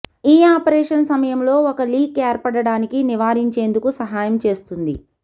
ఈ ఆపరేషన్ సమయంలో ఒక లీక్ ఏర్పడటానికి నివారించేందుకు సహాయం చేస్తుంది